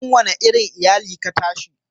cikin wani irin iyali ka tashi?